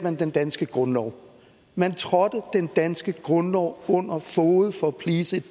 den danske grundlov man trådte den danske grundlov under fode for at please et